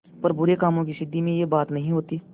पर बुरे कामों की सिद्धि में यह बात नहीं होती